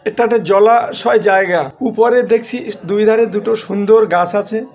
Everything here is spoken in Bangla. এটা একটা জলা শয় জায়গা। উপরে দেখছি ই দুই ধারে দুটো সুন্দর গাছ আছে।